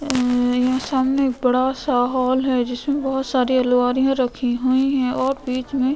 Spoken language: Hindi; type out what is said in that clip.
ए यहा सामने एक बड़ा सा हॉल हैं जिसमे बहत सारी अलवारिया रखी हुई हियाँ और बीच मैं --